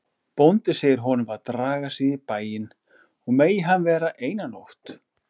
Bóndi segir honum að draga sig í bæinn og megi hann vera eina nótt.